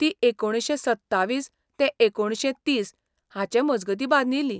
ती एकुणशे सत्तावीस ते एकुणशे तीस हाचे मजगतीं बांदिल्ली.